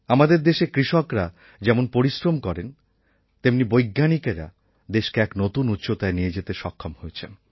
আমাদের দেশে কৃষকরা যেমন পরিশ্রম করেন তেমনি বৈজ্ঞানিকেরা দেশকে এক নতুন উচ্চতায় নিয়ে যেতে সক্ষম হয়েছেন